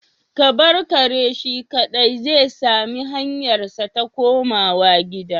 Ka bar kare shi kadai zai sami hanyarsa ta komawa gida